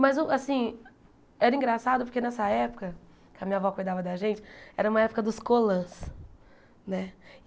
Mas, o assim, era engraçado porque nessa época que a minha avó cuidava da gente, era uma época dos colãs, né?